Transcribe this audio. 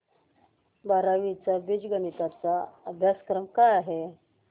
बारावी चा बीजगणिता चा अभ्यासक्रम काय आहे